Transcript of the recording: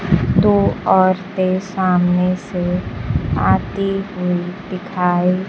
दो औरते सामने से आती हुई दिखाई--